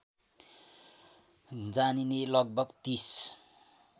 जानिने लगभग ३०